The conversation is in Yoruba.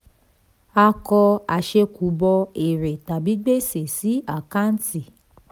a kọ àṣẹ̀kùbọ̀ èrè tàbí gbèsè sí àkáǹtì.